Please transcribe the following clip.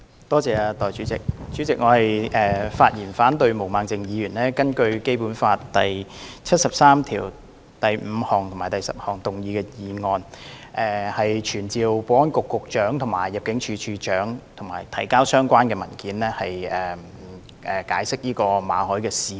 代理主席，我發言反對毛孟靜議員根據《基本法》第七十三條第五項及第十項動議的議案，傳召保安局局長及入境事務處處長到立法會提交相關文件及解釋馬凱事件。